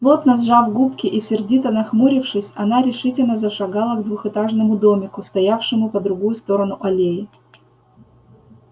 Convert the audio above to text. плотно сжав губки и сердито нахмурившись она решительно зашагала к двухэтажному домику стоявшему по другую сторону аллеи